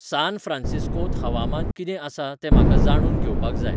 सान फ्रांसिस्कोंत हवामान कितें आसा तें म्हाका जाणून घेवपाक जाय